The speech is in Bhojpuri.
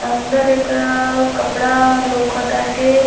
अंदर एकरा कपड़ा लउकताते।